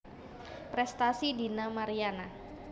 Prestasi Dina Mariana